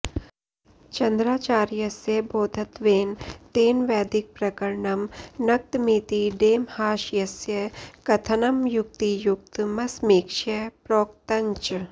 चन्द्राचार्यस्य बौद्धत्वेन तेन वैदिकप्रकरणं नक्तमिति डेमहाशयस्य कथनमयुक्तियुक्तमसमीक्ष्य प्रोक्तञ्च